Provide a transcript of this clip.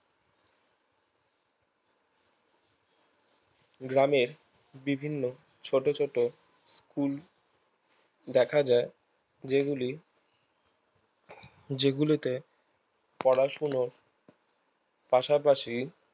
গ্রামের বিভিন্ন ছোট ছোট কুল দেখা যায় যেগুলি যেগুলিতে পড়াশুনোর পাশাপাশি